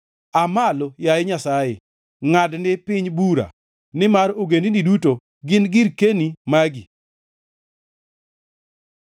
Aa malo, yaye Nyasaye, ngʼadni piny bura, nimar ogendini duto gin girkeni magi.